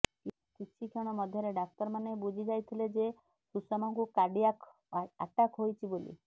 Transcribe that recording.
କିଛି କ୍ଷଣ ମଧ୍ୟରେ ଡାକ୍ତରମାନେ ବୁଝି ଯାଇଥିଲେ ଯେ ସୁଷମାଙ୍କୁ କାର୍ଡିଆକ୍ ଆଟାକ୍ ହୋଇଛି ବୋଲି